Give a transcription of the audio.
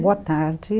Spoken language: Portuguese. Boa tarde.